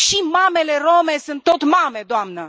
Și mamele rome sunt tot mame, doamnă!